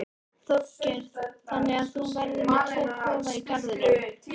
Þorgeir: Þannig að þú verður með tvo kofa í garðinum?